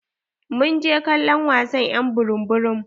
Mun je kallon wasan y'an burum-burum.